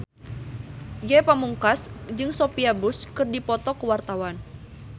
Ge Pamungkas jeung Sophia Bush keur dipoto ku wartawan